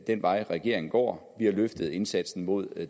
den vej regeringen går vi har løftet indsatsen mod